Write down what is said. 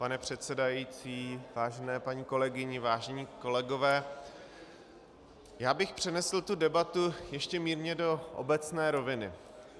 Pane předsedající, vážené paní kolegyně, vážení kolegové, já bych přenesl tu debatu ještě mírně do obecné roviny.